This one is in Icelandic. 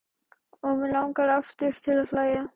Og mig langar aftur til að hlæja.